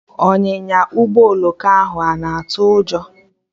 Ọnyịnya Ụgbọ oloko ahụ ana atụ ụjọ?